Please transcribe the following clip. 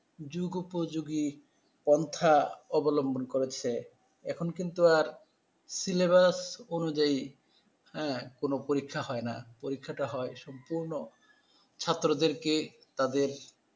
যুগোপযোগী পন্থা অবলম্বন করেছে। এখন কিন্তু আর সিলেবাস অনুযায়ী হ্যা কোন পরীক্ষা হয় না। পরীক্ষা হয় সম্পূর্ণ ছাত্রদেরকে তাদের